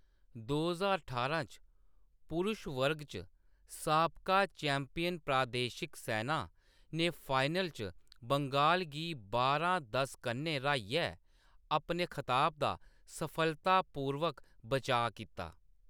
दो ज्हार ठारां च, पुरुष वर्ग च, साबका चैम्पियन प्रादेशिक सैना ने फाइनल च बंगाल गी बारां:दस कन्नै र्‌हाइयै अपने खताब दा सफलतापूर्वक बचाऽ कीता।